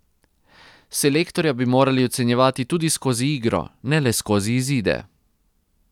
Selektorja bi morali ocenjevati tudi skozi igro, ne le skozi izide.